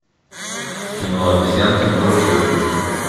кино обезьянки можешь выключить